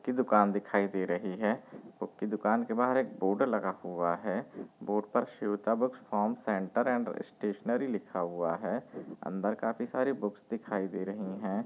की दुकान दिखाई दे रही है बुक की दुकान के बाहर एक बोर्ड लगा हुआ है बोर्ड पर Shweta books form centre and stationery लिखा हुआ है अंदर काफी सारी बुक्स दिखाई दे रहे हैं।